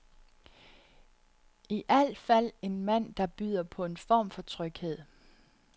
I al fald en mand, der byder på en form for tryghed.